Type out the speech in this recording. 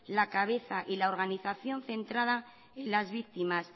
la cabeza y la organización centrada en las víctimas